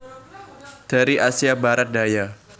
Dari Asia Barat Daya